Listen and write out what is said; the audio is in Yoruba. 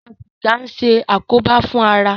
Fífa sìgá ń ṣe àkóbá fún ara.